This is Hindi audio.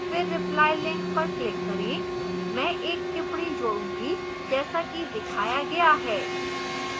फिर reply link पर click करें मैं एक टिप्पणी जोड़ूंगी जैसा कि दिखाया गया है